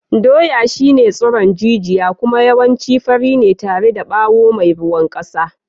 Dawa shine tsiron jijiya kuma yawanci fari ne tare da bawo mai ruwan kasa.